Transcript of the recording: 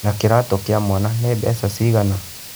Na kĩratũ kĩa mwana nĩ mbeca cigana?